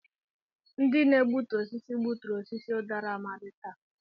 Ndị na-egbutu osisi gbuturu osisi udara Amadi taa.